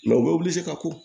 u bɛ wili se ka ko